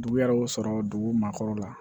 Dugu yɛrɛ y'o sɔrɔ dugu ma kɔrɔ la